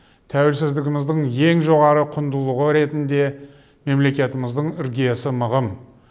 тәуелсіздігіміздің ең жоғары құндылығы ретінде мемлекетіміздің іргесі мығым